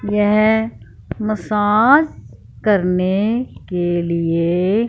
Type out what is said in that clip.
यह मसाज करने के लिए--